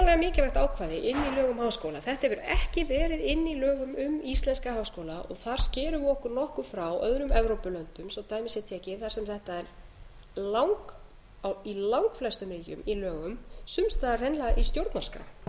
um háskóla þetta hefur ekki verið inni í lögum um íslenska háskóla og þar skerum við okkur nokkuð frá öðrum evrópulöndum svo dæmi sé tekið þar sem þetta er í langflestum í lögum sums staðar hreinlega í stjórnarskrá